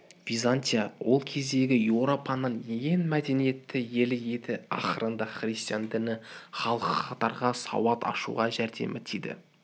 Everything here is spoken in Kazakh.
византия ол кездегі еуропаның ең мәдениетті елі еді ақырында христиан діні халықтарға сауат ашуға жәрдемі тиді